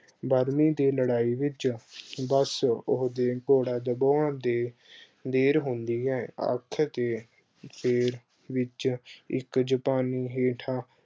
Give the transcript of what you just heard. ਬਰਮੀਂ ਦੀ ਲੜਾਈ ਵਿੱਚ ਬੱਸ ਉਹਦੇ ਘੋੜਾ ਦਬਾਉਣ ਦੀ ਦੇਰ ਹੁੰਦੀ ਐ ਆਖ ਕੇ ਸਰੀਰ ਵਿੱਚ ਇੱਕ ਜਪਾਨੀ ਹੇਠਾਂ